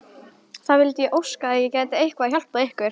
Það vildi ég óska að ég gæti eitthvað hjálpað ykkur!